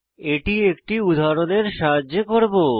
এটি একটি উদাহরণের সাহায্যে করব